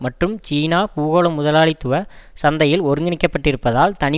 மற்றும் சீனா பூகோள முதலாளித்துவ சந்தையில் ஒருங்கிணைக்கப்பட்டிருப்பதால் தனி